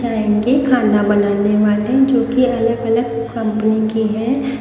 के खाना बनाने वाले जो कि अलग-अलग कंपनी के हैं।